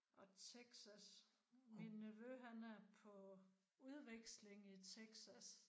Og Texas. Min nevø han er på udveksling i Texas